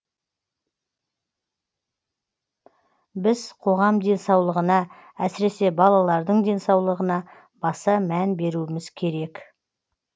біз қоғам денсаулығына әсіресе балалардың денсаулығына баса мән беруіміз керек